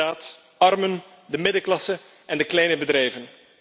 Inderdaad, de armen, de middenklasse en de kleine bedrijven.